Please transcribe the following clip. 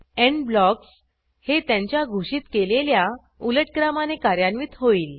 end blocks हे त्यांच्या घोषित केलेल्या उलट क्रमाने कार्यान्वित होईल